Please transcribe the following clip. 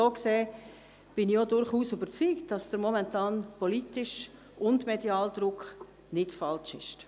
So gesehen bin ich durchaus überzeugt, dass der momentane politische und mediale Druck nicht falsch ist.